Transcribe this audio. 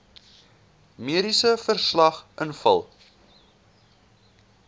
mediese verslag invul